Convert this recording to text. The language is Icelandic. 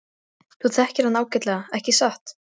Þú þekktir hann ágætlega, ekki satt?